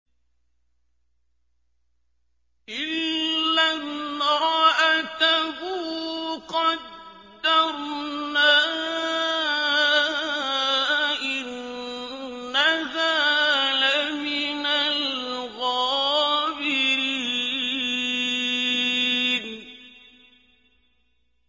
إِلَّا امْرَأَتَهُ قَدَّرْنَا ۙ إِنَّهَا لَمِنَ الْغَابِرِينَ